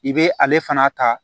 I bɛ ale fana ta